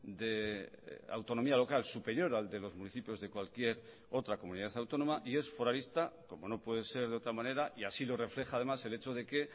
de autonomía local superior al de los municipios de cualquier otra comunidad autónoma y es foralista como no puede ser de otra manera y así lo refleja además el hecho de que